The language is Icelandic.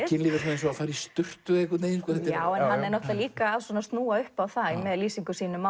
kynlíf er svona eins og að fara í sturtu einhvern veginn hann er líka að snúa upp á það með lýsingum sínum